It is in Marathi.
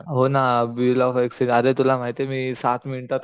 हो ना बिल ऑफ एक्सचेंज आरे तुला माहितेय मी सात मिनिटात